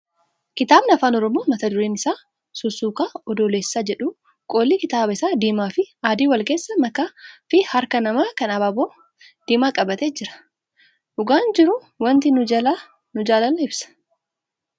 Kitaabni afaan oromoo mata dureen isaa sussuka adoolessaa jedhu qolli kitaaba isaa diimaa fi adii wal keessa makaa fi harka namaa kan abaaboo diimaa qabate jira. Dhugaan jiru wanti kun jaalala ibsa.